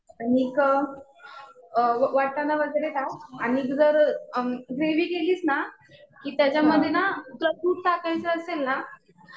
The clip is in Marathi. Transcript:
आणिक अ वाटाणा वगैरे टाक. आणि जर ग्रेव्ही केलीस ना कि त्याच्यामध्ये ना तुला दूध टाकायचं असेल ना